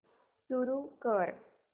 सुरू कर